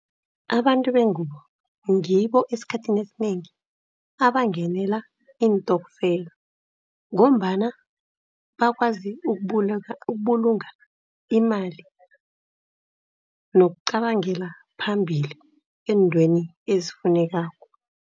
Abantu bengubo ngibo esikhathini esinengi abangenela iintokfela ngombana bakwazi ukubulunga imali two nokuzicabangela phambili eentweni ezifunekako.